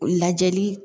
Lajɛli